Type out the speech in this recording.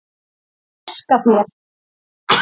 en æska þér